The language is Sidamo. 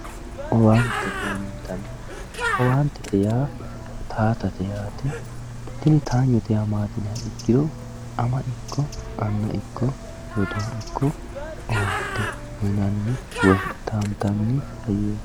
owaantete yaamantanno owaantete yaa taatate yaate tini taanyote yaa maati yiniha ikkiro ama ikko anna ikko rodoo ikko owaante uyiinanni woyi taantanni hayyooti.